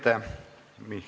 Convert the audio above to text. Aitäh!